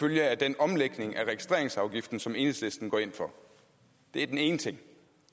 følge af den omlægning af registreringsafgiften som enhedslisten går ind for det er den ene ting